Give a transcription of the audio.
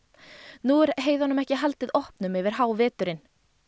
nú er heiðunum ekki haldið opnum yfir háveturinn